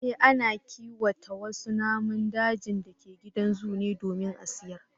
Eh, ana kiwata wasu naman dajin da ke gidan zoo ne domin a sayar